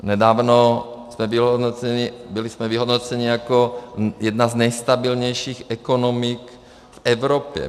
Nedávno jsme byli vyhodnoceni jako jedna z nejstabilnějších ekonomik v Evropě.